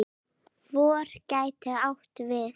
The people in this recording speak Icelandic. FOR gæti átt við